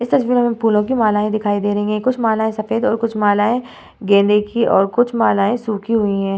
इस तस्वीर मे हमे फूलो की मालाएं दिखाई दे रही है कुछ मालाएं सफेद और कुछ मालाएं गेंदे की और कुछ मालाएं सूखी हुई है।